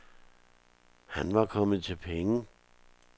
Han var kommet til penge.